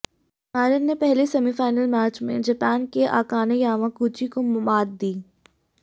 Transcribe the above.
Marin ने पहले semifinal match में जापान की अकाने यामाकुची को मात दी